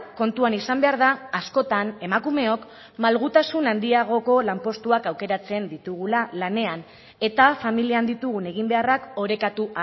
kontuan izan behar da askotan emakumeok malgutasun handiagoko lanpostuak aukeratzen ditugula lanean eta familian ditugun eginbeharrak orekatu